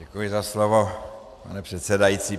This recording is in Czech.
Děkuji za slovo, pane předsedající.